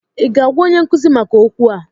ị ga agwa onye nkuzi maka okwu a?